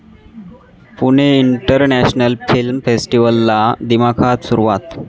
Pune international film फेस्टिव्हलला दिमाखात सुरुवात